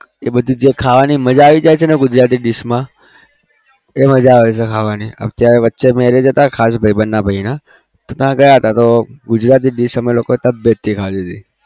એ બધું જે ખાવાની મજા આવી જાય છે ને ગુજરાતી dish માં એ મજા આવે છે ખાવાની અત્યારે વચ્ચે marriage હતા ખાસ ભાઈબંધના ભાઈના તો ત્યાં ગયા હતા તો ગુજરાતી dish અમે લોકોએ તબિયતથી ખાધી હતી.